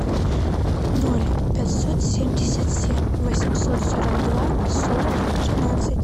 ноль пятьсот семьдесят семь восемьсот сорок два сорок тринадцать